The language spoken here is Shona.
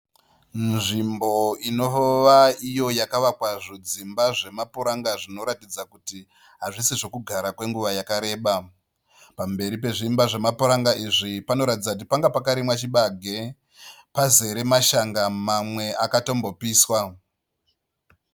Nzvimbo inova iyo yakavakwa zvidzimba zvemapuranga zvinoratidza kuti hazvisi zvekugara kwenguva yakareba. Pamberi pezviimba zvemapuranga izvi panoratidza kuti panga pakarimwa chibage pazere mashanga mamwe akatombopiswa.